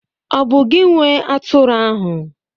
Ọ̀ bụ gị nwe atụrụ ahụ?